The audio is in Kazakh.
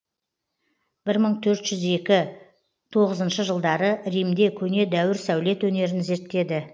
бір мың төрт жүз екі тоғызыншы жылдары римде көне дәуір сәулет өнерін зерттеді